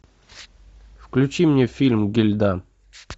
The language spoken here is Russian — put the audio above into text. включи мне фильм гильда